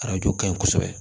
Arajo kaɲi kosɛbɛ